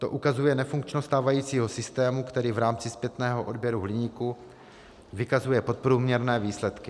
To ukazuje nefunkčnost stávajícího systému, který v rámci zpětného odběru hliníku vykazuje podprůměrné výsledky.